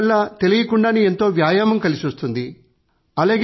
దీనివల్ల తెలియకుండానే ఎంతో వ్యాయామం కలిసివస్తోంది